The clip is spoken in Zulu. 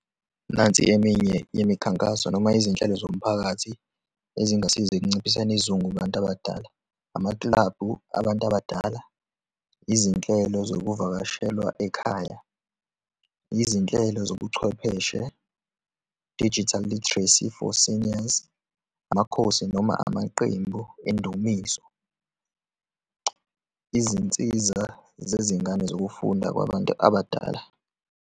Nansi eminye imikhankaso noma izinhlelo zomphakathi ezingasiza ekunciphiseni isizungu kubantu abadala, amakilabhu abantu abadala, izinhlelo zokuvakashelwa ekhaya, izinhlelo zobuchwepheshe, digital literacy for seniors, amakhosi noma amaqembu endumiso, izinsiza zezingane zokufunda kwabantu abadala.